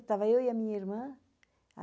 Estava eu e a minha irmã.